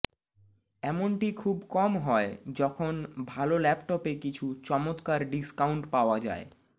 এমনটি খুব কম হয় যখন ভাল ল্যাপটপে কিছু চমত্কার ডিসকাউন্ট পাওয়া যায়